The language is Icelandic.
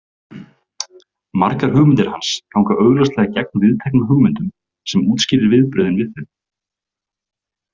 Margar hugmyndir hans ganga augljóslega gegn viðteknum hugmyndum sem útskýrir viðbrögðin við þeim.